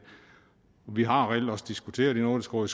vi har reelt også diskuteret i nordisk råd